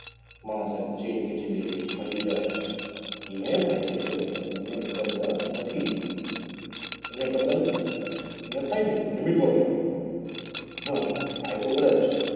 Chain ખેંચી લે મારી જાન અહીંયા એ થાય છે પણ અહીંયા એટલા બધા નથી અહીંયા એટલા બધા નથી અહીંયા થાય છે limit માં થાય છે હા થાય તો ખરા જ